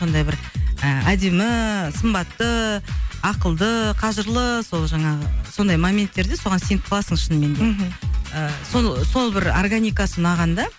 сондай бір ы әдемі сымбатты ақылды қажырлы сол жаңағы сондай моменттерде соған сеніп қаласың шынымен де мхм ыыы сол сол бір органикасы ұнаған да